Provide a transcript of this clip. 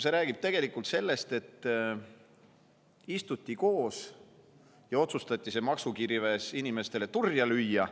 See räägib tegelikult sellest, et istuti koos ja otsustati maksukirves inimestele turja lüüa.